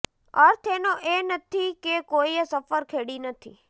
અર્થ એનો એ નથી કે કોઈએ સફર ખેડી નથી